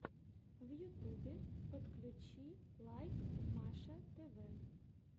в ютубе подключи лайк маша тв